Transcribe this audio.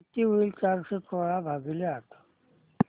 किती होईल चारशे सोळा भागीले आठ